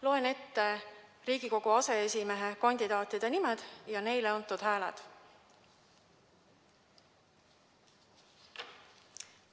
Loen ette Riigikogu aseesimehe kandidaatide nimed ja neile antud hääled.